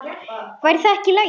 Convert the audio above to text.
Væri það ekki í lagi?